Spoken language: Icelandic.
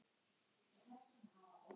Hann var bara þannig.